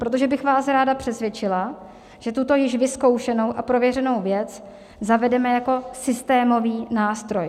Protože bych vás ráda přesvědčila, že tuto již vyzkoušenou a prověřenou věc zavedeme jako systémový nástroj.